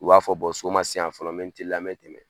U b'a fɔ so man se yan fɔlɔ n bɛ teliya n mɛ tɛmɛn.